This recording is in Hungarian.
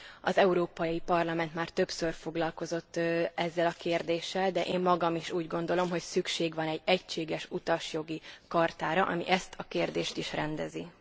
Az Európai Parlament már többször foglalkozott ezzel a kérdéssel, de én magam is úgy gondolom, hogy szükség van egy egységes utasjogi chartára, ami ezt a kérdést is rendezi.